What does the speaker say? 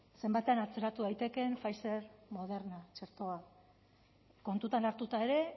zenbatean atzeratu daitekeen pfizer moderna txertoa kontutan hartuta ere